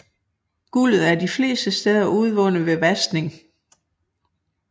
Guldet er de fleste steder udvundet ved vaskning